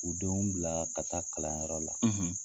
U denw bila ka taa kalanyɔrɔ la.